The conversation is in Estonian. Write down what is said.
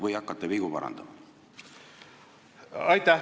Või hakkate vigu parandama?